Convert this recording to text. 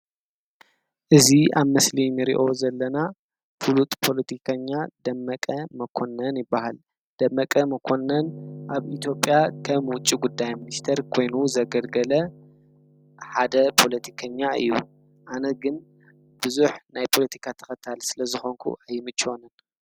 እዚ አብ ምስሊ ንሪኦ ዘለና ፍሉጥ ፖለቲከኛ ደመቀ መኮንን ይበሃል። ደመቀ መኮነን አብ ኢትዮጵያ ከም ዉጪ ጉዳይ ሚኒስትር ኮይኑ ዘገልገለ ሓደ ፖለቲከኛ እዪ አነ ግን ብዙሕ ናይ ፖለቲካ ተኸታሊ ስለ ዝኮንኩ ኣይምችወንን ።